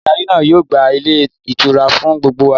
Adarí náà yóò gba Ilé ìtura fún gbogbo wa